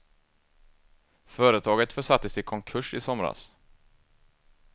Företaget försattes i konkurs i somras.